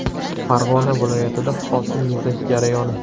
Farg‘ona viloyatida hosil yig‘ish jarayoni.